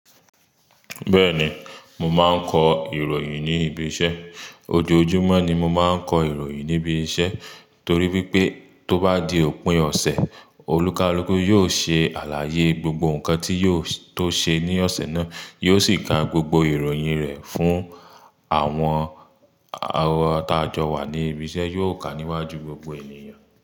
Bẹ́ẹ̀ni, mo máa ń kọ ìròyìn ní ibi iṣẹ́. Ojoojúmọ́ ni mo máa ń kọ ìròyìn níbi iṣẹ́ torí wípé tó bá di òpin ọ̀sẹ̀, olùkàlúkù yóò ṣe àlàyé gbogbo nǹkan tí ó ṣe ní ọ̀sẹ̀ náà, yóò sì ka gbogbo ìròyìn rẹ̀ fún àwọn alátajọ wà ní ibi iṣẹ́, yóò kà á níwájú gbogbo ènìyàn.